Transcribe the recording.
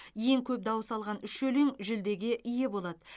ең көп дауыс алған үш өлең жүлдеге ие болады